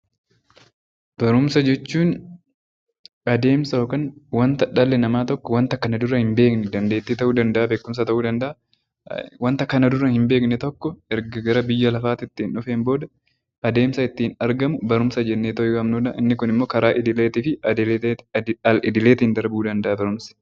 Barumsa jechuun adeemsa yookiin waanta dhalli namaa kana dura hin beekne dandeettii ta'uu danda'a, beekumsa ta'uu danda'a waanta kana dura hin beekne tokko erga gara biyya lafaatti dhufee adeemsa ittiin argamu barumsa jennee waamnudha. Inni Kun immoo karaa idilee fi al-idileetiin darbuu danda'a barumsi.